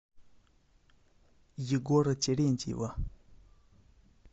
егора терентьева